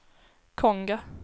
Konga